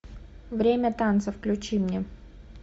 время танцев включи мне